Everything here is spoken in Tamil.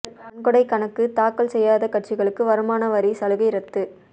நன்கொடை கணக்கு தாக்கல் செய்யாத கட்சிகளுக்கு வருமான வரி சலுகை ரத்து